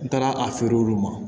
N taara a feere olu ma